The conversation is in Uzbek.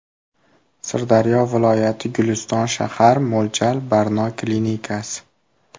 Sirdaryo viloyati Guliston shahar Mo‘ljal: Barno klinikasi.